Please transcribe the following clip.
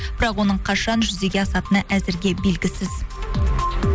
бірақ оның қашан жүзеге асатыны әзірге белгісіз